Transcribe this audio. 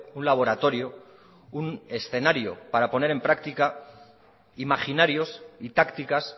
un laboratorio un escenario para poner en práctica imaginarios y tácticas